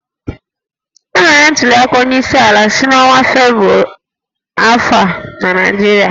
Emere ntuliaka onyeisiala n'ọnwa Febụwarị afọ a na Naịjirịa